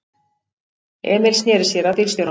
Emil sneri sér að bílstjóranum.